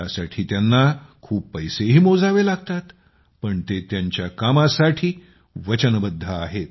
त्यासाठी त्याना खूप पैसेही मोजावे लागतात पण ते त्याच्या कामासाठी वचनबद्ध आहेत